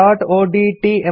resumeಒಡಿಟಿ